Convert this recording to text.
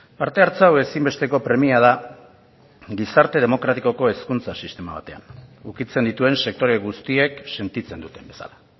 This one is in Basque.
parte hartze hau ezinbesteko premia da gizarte demokratikoko hezkuntza sistema batean ukitzen dituen sektore guztiek sentitzen duten bezala